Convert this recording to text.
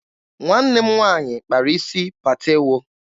Nwanne m nwaanyị kpara isi patewo.